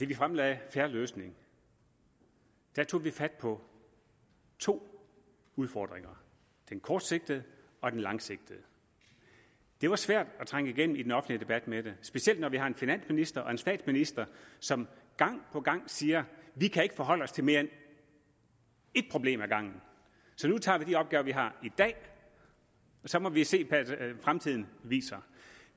vi fremlagde en fair løsning tog vi fat på to udfordringer den kortsigtede og den langsigtede det var svært at trænge igennem i den offentlige debat med det specielt når vi har en finansminister og en statsminister som gang på gang siger vi kan ikke forholde os til mere end ét problem ad gangen så nu tager vi de opgaver vi har i dag og så må vi se hvad fremtiden viser